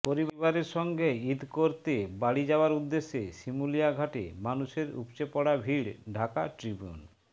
পরিবারের সঙ্গে ঈদ করতে বাড়ি যাওয়ার উদ্দেশে শিমুলিয়া ঘাটে মানুষের উপচেপড়া ভিড় ঢাকা ট্রিবিউন